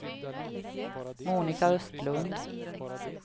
Monica Östlund